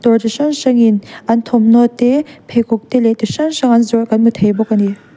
dawr chi hrang hrangin an thawmhnaw te pheikhawk te leh ti hrang hrang an zawrh kan hmu thei bawk a ni.